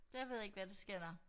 Jeg ved ikke hvad der sker der